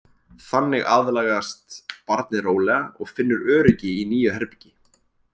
Þannig aðlagast barnið rólega og finnur öryggi í nýju herbergi.